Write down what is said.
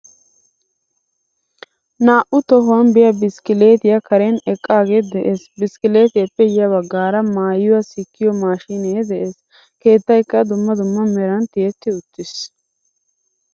Naa'u tohuwan biya biskkilettiyaa karen eqqage de'ees. Biskkilitiyappe ya baggaara maayuwaa sikkiyo maashine de'ees. Keettaykka dumma dumma meran tiyetti uttiis.